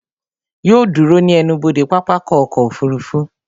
Yóò ó dúró ní ẹnubodè pápákọ̀ ọkọ̀ òfurufú